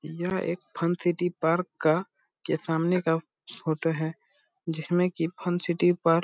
यह एक fun city park का के सामने का फोटो है जिसमें की सिटी पार्क --